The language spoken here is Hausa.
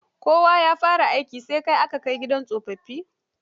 Kowa ya fara aikin sa kai a gidan tsofaffi.